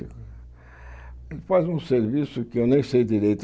Ele faz um serviço que eu nem sei direito.